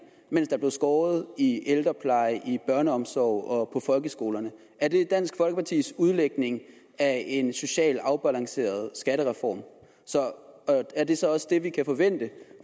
mens der blev skåret i ældreplejen i børneomsorgen og på folkeskolerne er det dansk folkepartis udlægning af en socialt afbalanceret skattereform er det så også det vi kan forvente